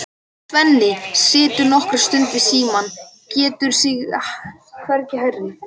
Svenni situr nokkra stund við símann, getur sig hvergi hrært.